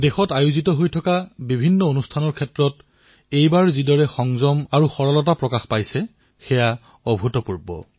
দেশত অনুষ্ঠিত হোৱা প্ৰতিটো আয়োজন যি সংযম আৰু সমন্বয়ৰ সৈতে সম্পন্ন হৈছে সেয়া সঁচাকৈয়ে অভুতপূৰ্ব